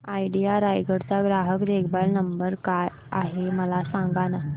idea Raigad चा ग्राहक देखभाल नंबर काय आहे मला सांगाना